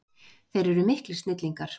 Þeir eru miklir snillingar.